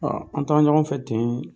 An taa ɲɔgɔn fɛ ten